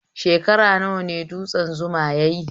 Shekara nawa ne dutsen Zuma yayi?